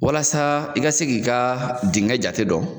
Walasa i ka se k'i ka dengɛ jate dɔn